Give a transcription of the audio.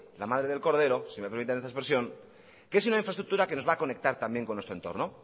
la madre del cordero si me permite esta expresión que es una infraestructura que nos va a conecta también con nuestro entrono